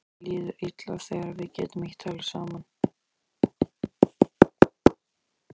Mér líður illa þegar við getum ekki talað saman.